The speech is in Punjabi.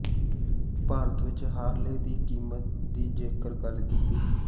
ਭਾਰਤ ਵਿਚ ਹਾਰਲੇ ਦੀ ਕੀਮਤ ਦੀ ਜੇਕਰ ਗਲ ਕੀਤੀ